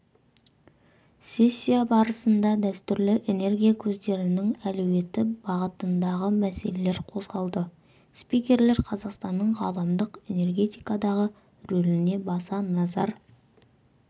сессия барысында дәстүрлі энергия көздерінің әлеуеті бағытындағы мәселелер қозғалды спикерлер қазақстанның ғаламдық энергетикадағы рөліне баса назар